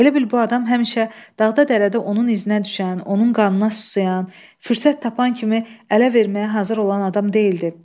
Elə bil bu adam həmişə dağda dərədə onun izinə düşən, onun qanına susayan, fürsət tapan kimi ələ verməyə hazır olan adam deyildi.